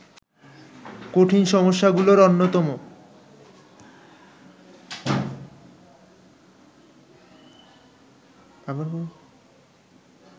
কঠিন সমস্যাগুলির অন্যতম